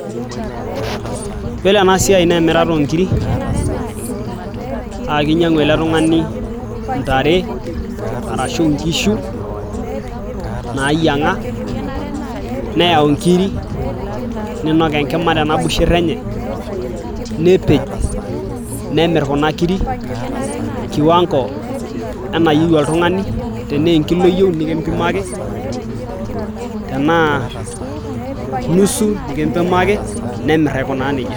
Ore ena siai naa emirara oonkirik naakinyiang'u ele tung'ani intare arashuu inkishu naayiang'a neyau inkirik ninok enkima tena busher enye nepej nemir kuna kirik kiwango enayieu oltung'ani tenaa enkilo iyieu nikimbimaki tenaa nusu nikimbimaki nemir aikunaa nejia.